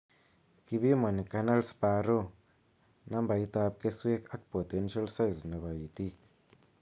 Kibiimani kernels per row, nambaitab kesweek ak potential size nebo iitik